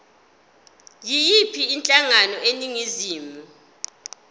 yiyiphi inhlangano eningizimu